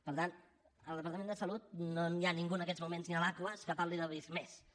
per tant al departament de salut no hi ha ningú en aquests moments ni a l’aquas que parli del visc+